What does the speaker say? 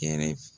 Kɛrɛ